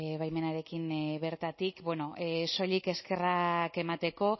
baimenarekin bertatik bueno soilik eskerrak emateko